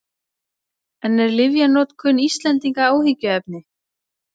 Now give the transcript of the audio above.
En er lyfjanotkun Íslendinga áhyggjuefni?